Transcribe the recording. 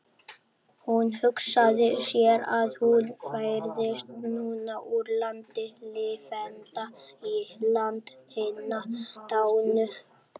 Hún hugsaði sér að hún færðist núna úr landi lifenda í land hinna dánu.